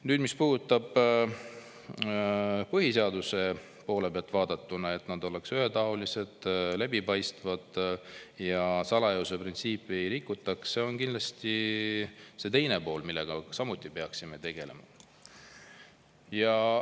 Nüüd, kui vaadata põhiseaduse poole pealt, et valimised oleksid ühetaolised ja läbipaistvad ja salajasuse printsiipi ei rikutaks, siis see on kindlasti see teine pool, millega samuti peaksime tegelema.